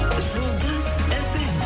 жұлдыз фм